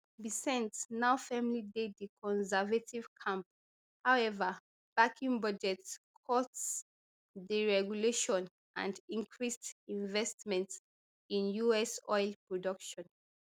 bessent now firmly dey di conservative camp howeva backing budget cuts deregulation and increased investment in us oil production